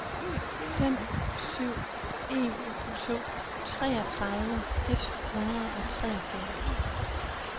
fem syv en to treogtredive et hundrede og treogfyrre